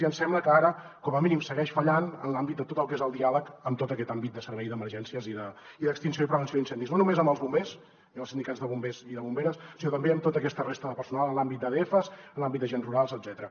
i ens sembla que ara com a mínim segueix fallant en l’àmbit de tot el que és el diàleg amb tot aquest àmbit de servei d’emergències i d’extinció i prevenció d’incendis no només amb els bombers i amb els sindicats de bombers i de bomberes sinó també amb tota aquesta resta de personal en l’àmbit d’adfs en l’àmbit d’agents rurals etcètera